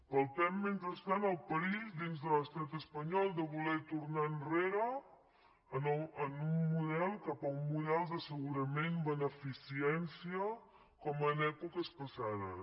palpem mentrestant el perill dins de l’estat espanyol de voler tornar enrere cap a un model d’assegurament beneficència com en èpoques passades